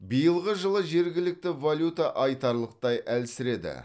биылғы жылы жергілікті валюта айтарлықтай әлсіреді